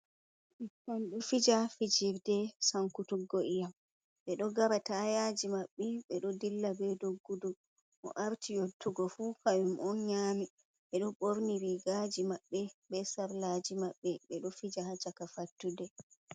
Ɓikkon ɗo fija fijirde sankutuggo ii'am, ɓe ɗo gara taayaaji maɓɓe, ɓe ɗo dilla be doggudu, mo arti yottugo fu, kayum on nyaami, ɓe ɗo ɓorni riigaaji maɓɓe, be sarlaaji maɓɓe, ɓe ɗo fija ha chaka fattude.